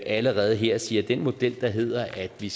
allerede her sige at den model der hedder at vi